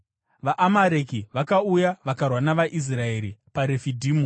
VaAmareki vakauya vakarwa navaIsraeri paRefidhimu.